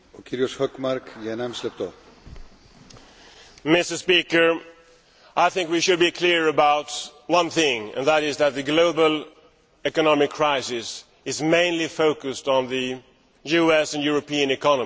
Mr President, I think we should be clear about one thing, namely, that the global economic crisis is mainly focused on the US and European economies.